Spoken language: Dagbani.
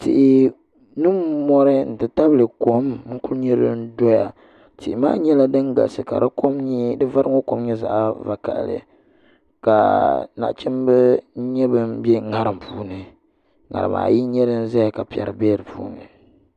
Tihi ni mori n ti tabili kom n ku nyɛ din doya tihi maa nyɛla din galisi ka di vari ŋo kom nyɛ zaɣ vakaɣali ka nachimbi n nyɛ bin bɛ ŋarim puuni ŋarima n nyɛ din ʒɛya ka piɛri bɛ di puuni